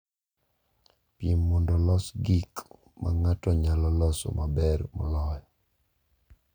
Piem mondo olos gik ma ng’ato nyalo loso maber moloyo.